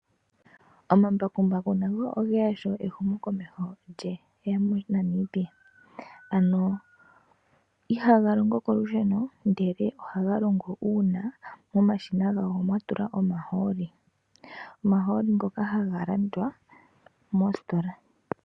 Omambakumbaku nago ogeya sho ehumokomeho lueya moNamibia ano ihaga longo kolusheno ihe oha ga longo uuna kwa tulwa omahooli omahooli ngoka haga longo kolusheno.